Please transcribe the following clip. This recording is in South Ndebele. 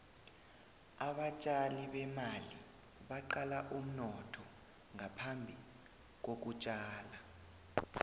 abatjali bemali baqala umnotho ngaphambi kokutjala